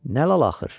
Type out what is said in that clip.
"Nə lal axır?"